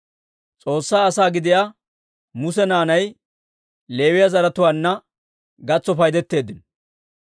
S'oossaa asaa gidiyaa Muse naanay Leewiyaa zaratuwaanna gatso paydetteeddino.